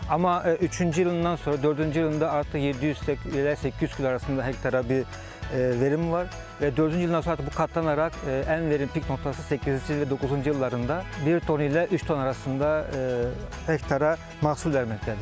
Amma üçüncü yılından sonra dördüncü yılında artıq 700-800 kilo arasında hektara bir verimi var və dördüncü yıldan sonra artıq bu qatlanarak ən verimliq noktası 800 və 900 illərində bir ton ilə üç ton arasında hektara məhsul verməkdədir.